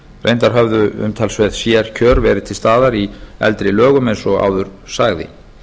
reyndar höfðu umtalsverð sérkjör verið til staðar í eldri lögum eins og áður sagði